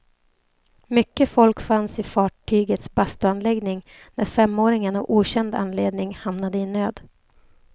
Mycket folk fanns i fartygets bastuanläggning när femåringen av okänd anledning hamnade i nöd.